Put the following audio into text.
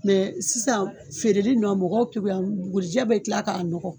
Mɛ sisan feereli nɔn mɔgɔw kekunyala bukurijɛ bɛ tila k'a nɔgɔ.